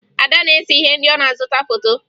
Ada na-ese ihe ndị ọ na-azụta foto